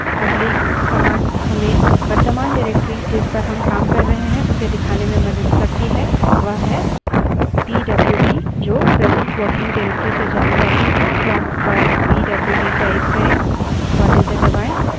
अगली command हमें वर्त्तमान directory जिस पर हम काम कर रहे हैं उसे दिखाने में मदद करती है वह है pwd जो present working directory से जानी जाती है prompt पर pwd type करें और enter दबायें